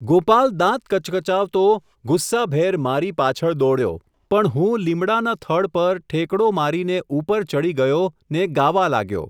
ગોપાલ દાંત કચકચાવતો, ગુસ્સાભેર મારી પાછળ દોડ્યો, પણ હું લીમડાના થડ પર, ઠેકડો મારીને ઉપર ચડી ગયો ને ગાવા લાગ્યો.